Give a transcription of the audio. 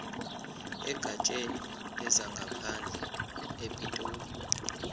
egatsheni lezangaphandle epitoli